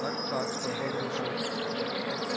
так так подбодрил шеф